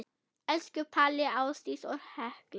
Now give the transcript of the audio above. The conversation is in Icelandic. Elsku Palli, Ásdís og Hekla.